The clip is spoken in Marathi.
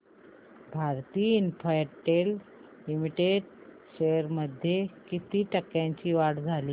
भारती इन्फ्राटेल लिमिटेड शेअर्स मध्ये किती टक्क्यांची वाढ झाली